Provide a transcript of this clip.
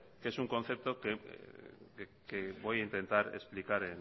que es un concepto que voy a intentar explicar